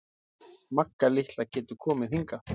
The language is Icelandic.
Magga litla getur komið hingað.